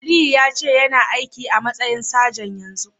Aliyu yace yana aiki a'matsayin sajan yanzun.